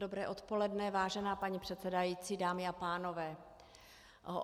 Dobré odpoledne, vážená paní předsedající, dámy a pánové.